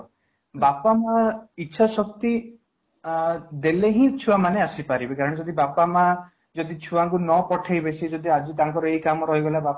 ବାପା ମାଆ ଇଚ୍ଛା ଶକ୍ତି ଆଁ ଦେଲେ ହିଁ ଛୁଆ ମାନେ ଆସିପାରିବେ କାହିଁକି ନା ଯଦି ବାପା ମାଆ ଛୁଆ ଙ୍କୁ ନ ପଠେଇବେ ସିଏ ଯଦି ଆଜି ତାଙ୍କର ଏଇ କାମ ରହିଗଲା ବାପ